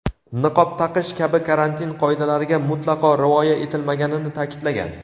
niqob taqish kabi karantin qoidalariga mutlaqo rioya etilmaganini ta’kidlagan.